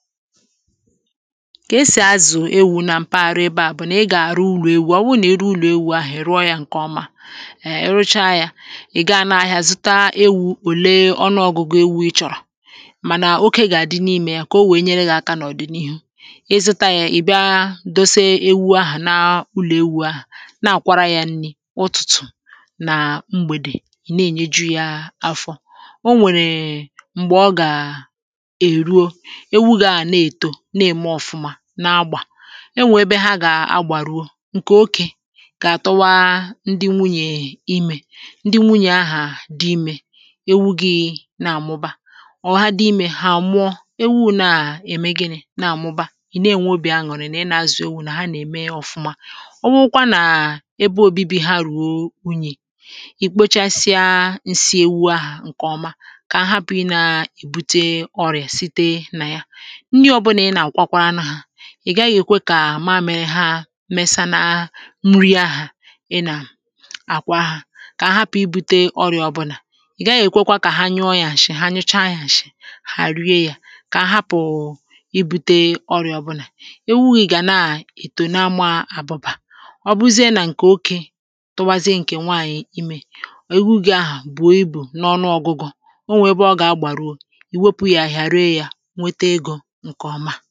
kà esì azụ̀ ewu̇ na mpaghara ebe à bụ̀ nà ị gà-àrụ ụrụ̇ ewu̇ ọ wụrụ nà ị rụọ ụlọ̀ ewu̇ ahụ̀ è ruo yȧ ǹkè ọma èè ị rụcha yȧ ị̀ ga n’ahịa zụta ewu̇ òle ọnụọgụ̇gụ ewu ị chọ̀rọ̀ mànà oke gà-àdị n’imė ya kà o wèe nyere gà-àkà n’ọ̀dị̀ n’ihu ị zụta yȧ ị̀ bịa dose ewu ahụ̀ na ụlọ̀ ewu̇ ahụ̀ na-àkwara yȧ nri̇ ụtụ̀tụ̀ nà mgbèdè ị̀ na-ènyeju yȧ afọ o nwèrè èmgbè ọ gà èruo na-ème ọ̀fụma na-agbà e nweebe ha gà-agbàruo ǹkè okè kà-àtụwa ndị nwunyè imè ndị nwunyè ahà dị imė ewu gị na-àmụba ọ̀ ha dị imè hà àmụọ ewu̇ na-ème gịnị na-àmụba ị̀ na-ènwe obì añụ̀rụ̀ nà ị nà-azụ̀ ewu̇ nà ha nà-ème ọ̀fụma ọ wụkwa nà ebe obibi ha rùo wunyì ì kpochasịa ǹsị ewu ahà ǹkè ọma kà ha hapụ̀rụ̀ i nà-èbute ọrịà site nà ya ndi̇ ọ̀bụlà ị nà-àkwakwa ana hȧ ị̀ gaghị èkwe kà maȧmịrị haa mesanaa nri ahụ̇ ị nà àkwa ha kà a hapụ̀ ibu̇te ọrị̀à ọbụnà ị̀ gaghị èkwekwa kà ha nyụọ yȧ mshị̇ ha nyocha yȧ mshị̇ hà àrịa yȧ kà a hapụ̀ ibu̇te ọrị̀à ọbụnà ewu gị̇ gà na-ètò na-ama àbụbà ọbụzie nà ǹkè oké tụbazie ǹkè nwaànyị̀ imė ò egwu̇gȧ ahụ̀ bùo ibù n’ọnụ ọgụgọ̇ o nwè ebe ọ gà-agbàruo ì wepù yȧ ahịhịa ree yȧ enyi̇